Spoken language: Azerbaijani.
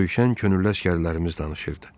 Döyüşən könüllü əsgərlərimiz danışırdı.